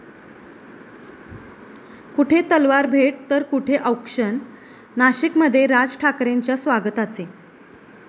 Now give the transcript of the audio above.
कुठे तलवार भेट तर कुठे औक्षण, नाशिकमध्ये राज ठाकरेंच्या स्वागताचे